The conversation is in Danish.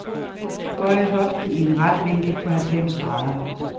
Bøj hoften i en ret vinkel på halvfems grader.